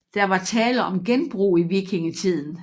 Der var tale om genbrug i vikingetiden